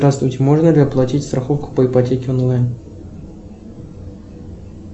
здравствуйте можно ли оплатить страховку по ипотеке онлайн